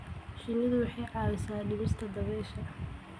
Shinnidu waxay caawisaa dhimista dabaysha.